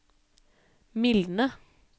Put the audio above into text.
mildne